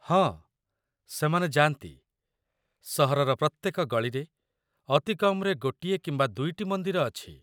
ହଁ, ସେମାନେ ଯାଆନ୍ତି। ସହରର ପ୍ରତ୍ୟେକ ଗଳିରେ ଅତି କମ୍‌ରେ ଗୋଟିଏ କିମ୍ବା ଦୁଇଟି ମନ୍ଦିର ଅଛି।